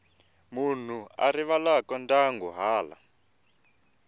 munhu a rivalaka ndyangu hala